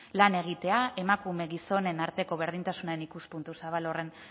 lan egitea emakume gizonen arteko berdintasunean ikuspuntu zabal horren